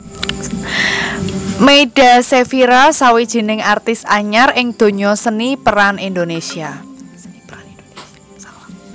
Meyda Sefira sawijining artis anyar ing donya seni pêran Indonesia